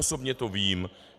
Osobně to vím.